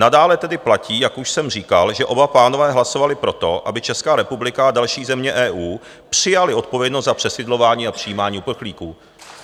Nadále tedy platí, jak už jsem říkal, že oba pánové hlasovali pro to, aby Česká republika a další země EU přijaly odpovědnost za přesídlování a přijímání uprchlíků.